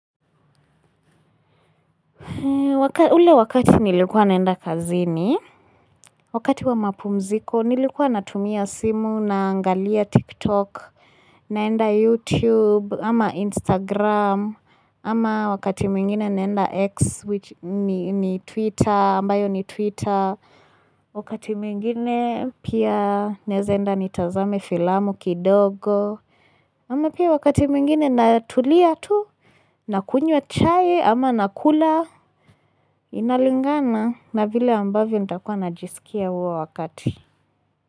Ule wakati nilikuwa naenda kazini, wakati wa mapumziko nilikuwa natumia simu naangalia TikTok, naenda YouTube, ama Instagram, ama wakati mwingine naenda X ni Twitter, ambayo ni Twitter, wakati mwingine pia naeza enda nitazame filamu kidogo. Ama pia wakati mwingine natulia tu, nakunywa chai ama nakula inalingana na vile ambavyo nitakuwa najisikia huo wakati.